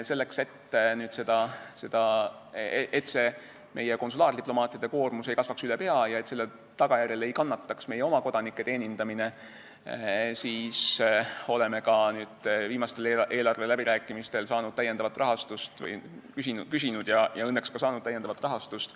Selleks, et meie konsulaardiplomaatide koormus ei kasvaks üle pea ja selle tagajärjel ei kannataks meie oma kodanike teenindamine, oleme viimastel eelarveläbirääkimistel küsinud ja õnneks ka saanud lisarahastust.